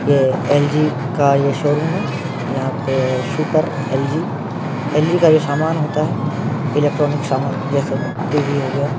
यह एल.जी का ये शोरूम है यहाँ पे सुपर एल.जी का सामान होता है। इलेक्ट्रॉनिक सामान जैसे टी.वी हो गया --